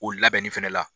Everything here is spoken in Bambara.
O labɛnni fɛnɛ la